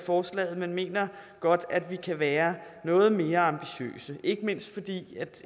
forslaget men mener godt at vi kan være noget mere ambitiøse ikke mindst fordi